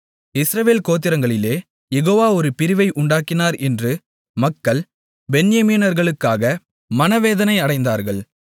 இஸ்ரவேல் கோத்திரங்களிலே யெகோவா ஒரு பிரிவை உண்டாக்கினார் என்று மக்கள் பென்யமீனர்களுக்காக மனவேதனை அடைந்தார்கள்